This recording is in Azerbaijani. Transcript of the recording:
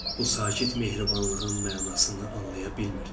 Bu sakit mehribanlığın mənasını anlaya bilmirdi.